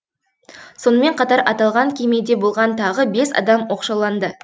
сонымен қатар аталған кемеде болған тағы бес адам оқшауланды